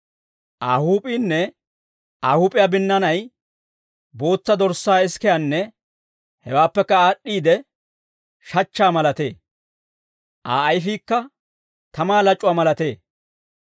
Aa huup'iinne Aa huup'iyaa binnaanay bootsa dorssaa isikiyaanne hewaappekka aad'd'iide shachchaa malatee; Aa ayfiikka tamaa lac'uwaa malatee.